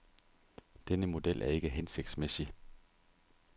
Denne model er ikke hensigtsmæssig.